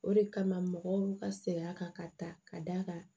O de kama mɔgɔw ka sɛgɛn a kan ka ta ka d'a kan